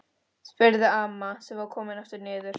spurði amma sem var komin aftur niður.